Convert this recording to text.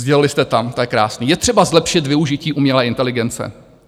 Sdělili (?) jste tam, to je krásné: Je třeba zlepšit využití umělé inteligence.